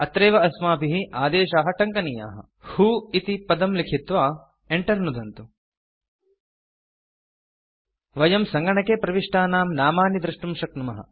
अत्रैव अस्माभिः आदेशाः टङ्कनीयाः व्हो इति पदं लिखित्वा Enter नुदन्तु वयं सङ्गणके प्रविष्टानां नामानि द्रष्टुं शक्नुमः